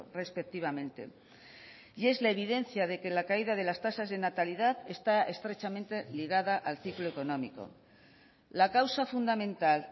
respectivamente y es la evidencia de que la caída de las tasas de natalidad está estrechamente ligada al ciclo económico la causa fundamental